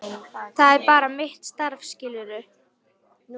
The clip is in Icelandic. Það er bara mitt starf, skilurðu.